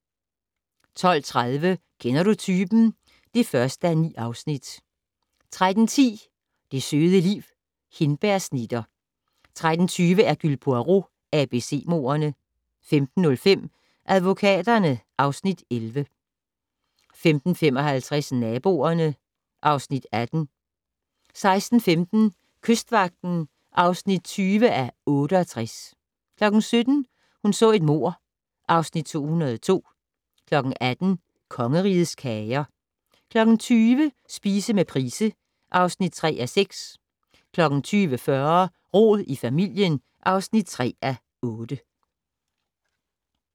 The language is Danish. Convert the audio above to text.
12:30: Kender du typen? (1:9) 13:10: Det søde liv - Hindbærsnitter 13:20: Hercule Poirot: ABC-mordene 15:05: Advokaterne (Afs. 11) 15:55: Naboerne (Afs. 18) 16:15: Kystvagten (20:68) 17:00: Hun så et mord (Afs. 202) 18:00: Kongerigets Kager 20:00: Spise med Price (3:6) 20:40: Rod i familien (3:8)